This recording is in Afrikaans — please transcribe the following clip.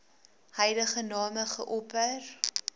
huidige name geopper